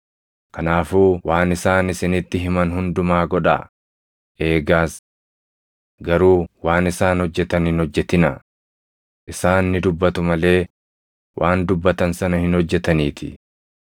Kanaafuu waan isaan isinitti himan hundumaa godhaa; eegaas. Garuu waan isaan hojjetan hin hojjetinaa; isaan ni dubbatu malee waan dubbatan sana hin hojjetaniitii.